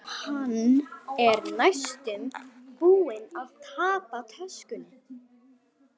Hann er næstum búinn að tapa töskunni.